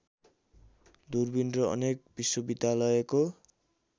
दूर्बिन र अनेक विश्वविद्यालयको